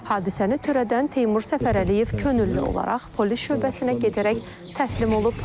Hadisəni törədən Teymur Səfərəliyev könüllü olaraq polis şöbəsinə gedərək təslim olub.